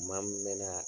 Maa min bɛ na